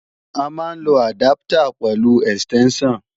A máa ń lo àdáptà pẹ̀lú ẹ̀stẹ́ńṣàn